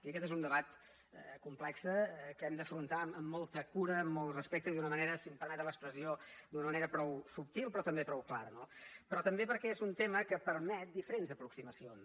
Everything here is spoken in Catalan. i aquest és un debat complex que hem d’afrontar amb molta cura amb molt respecte i d’una manera si em permeten l’expressió prou subtil però també prou clara no però també perquè és un tema que permet diferents aproximacions